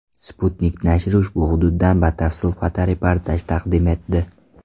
Sputnik nashri ushbu hududdan batafsil fotoreportaj taqdim etdi .